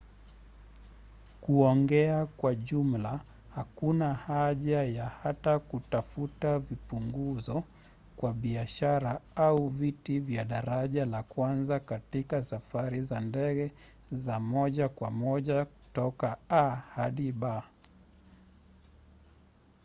kuongea kwa jumla hakuna haja ya hata kutafuta vipunguzo kwa biashara au viti vya daraja la kwanza katika safari za ndege za moja kwa moja toka a hadi b